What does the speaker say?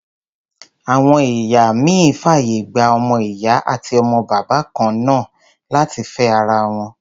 Àwọn ẹ̀ya ìmíì fàyè gba ọmọ-ìyá àti ọmọ-bàbá kan náà láti fẹ́ ara wọn.